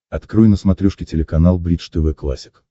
открой на смотрешке телеканал бридж тв классик